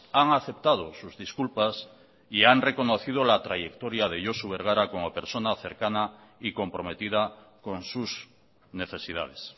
han aceptado sus disculpas y han reconocido la trayectoria de josu bergara como persona cercana y comprometida con sus necesidades